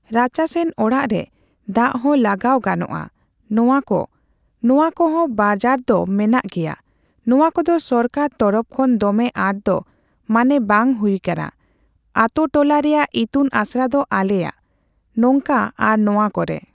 ᱨᱟᱪᱟᱥᱮᱱ ᱚᱲᱟᱜ ᱨᱮ ᱫᱟᱜ ᱦᱚᱸ ᱞᱟᱜᱟᱣ ᱜᱟᱱᱚᱜᱼᱟ᱾ ᱱᱚᱣᱟ ᱠᱚ ᱱᱚᱣᱟ ᱠᱚᱦᱚᱸ ᱵᱟᱡᱟᱨ ᱫᱚ ᱢᱮᱱᱟᱜ ᱜᱮᱭᱟ᱾ ᱱᱚᱣᱟ ᱠᱚᱫᱚ ᱥᱚᱨᱠᱟᱨ ᱛᱚᱨᱚᱯ ᱠᱷᱚᱱ ᱫᱚᱢᱮ ᱟᱸᱴ ᱫᱚ ᱢᱟᱱᱮ ᱵᱟᱝ ᱦᱩᱭ ᱠᱟᱱᱟ ᱟᱛᱳᱼᱴᱚᱞᱟ ᱨᱮᱭᱟᱜ ᱤᱛᱩᱱ ᱟᱥᱲᱟ ᱫᱚ ᱟᱞᱮᱭᱟᱜ᱾ ᱱᱚᱝᱠᱟ ᱟᱨ ᱱᱚᱣᱟ ᱠᱚᱨᱮ